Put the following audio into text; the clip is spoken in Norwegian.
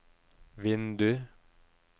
vindu